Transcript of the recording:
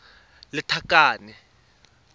lethakane